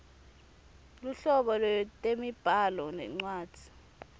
luhlobo lwetemibhalo nencwadzi